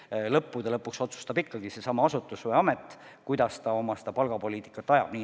Aga lõppude lõpuks otsustab ikkagi konkreetne asutus, kuidas ta oma palgapoliitikat ajab.